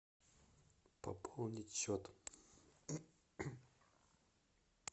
пополнить счет